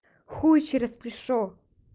хуй через плечо